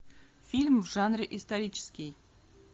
фильм в жанре исторический